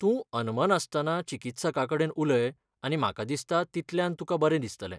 तूं अनमनासतना चिकित्सकाकडेन उलय आनी म्हाका दिसता तितल्यान तुका बरें दिसतलें.